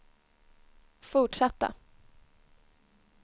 fortsatta